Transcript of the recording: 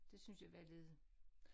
Det synes jeg var lidt